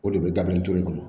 O de bɛ dabilen tulu kɔnɔ